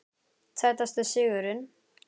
Sætasti sigurinn?